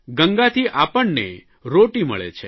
ગંગાથી આપણને રોટી મળે છે